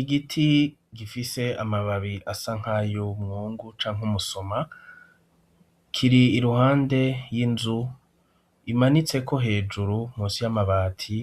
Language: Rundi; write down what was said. Igiti gifise amababi asa nk'ayumwungu canke umusoma kiri iruhande y'inzu imanitseko hejuru munsi y'amabati